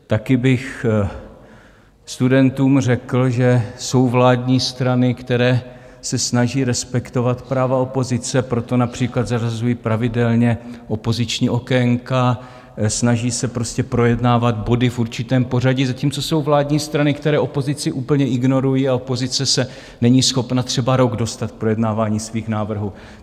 Taky bych studentům řekl, že jsou vládní strany, které se snaží respektovat práva opozice, proto například zařazují pravidelně opoziční okénka, snaží se prostě projednávat body v určitém pořadí, zatímco jsou vládní strany, které opozici úplně ignorují a opozice se není schopna třeba rok dostat k projednávání svých návrhů.